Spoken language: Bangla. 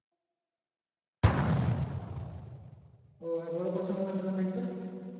ও বড় question কয়টা নাম্বার থাকবে?